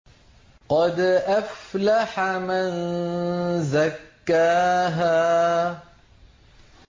قَدْ أَفْلَحَ مَن زَكَّاهَا